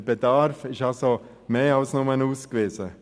Der Bedarf ist also mehr als nur ausgewiesen.